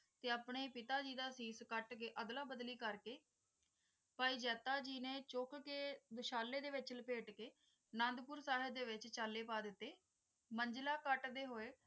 ਤੇ ਆਪਣੇ ਪਿਤਾ ਜੀ ਦਾ ਅਸੀਸ ਕਟ ਕ ਅਦਲਾ ਬਦਲੀ ਕਰ ਕ ਭਾਈ ਜਾਤਾ ਜੀ ਨੇ ਚੁੱਕ ਕ ਬਿਸ਼ਲੇ ਦੇ ਵਿਚ ਲਪੇਟ ਕ ਨੰਦਪੁਰ ਚਾਹੇ ਦੇ ਵਿਚ ਚਲੇ ਪਾ ਦਿੱਤੇ ਮੰਜਲਾ ਕਟ ਦੇ ਹੂਏ